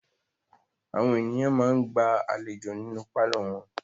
Àwọn ènìyàn máa ń gba àlejò nínú pálọ̀ wọn.